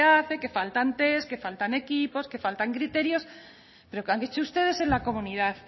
hace que faltan test que faltan equipos que faltan criterios pero qué han hecho ustedes en la comunidad